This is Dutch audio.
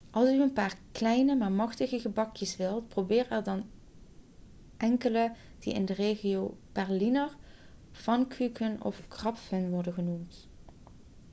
als u een paar kleine maar machtige gebakjes wilt probeer er dan enkele die in de regio berliner pfannkuchen of krapfen worden genoemd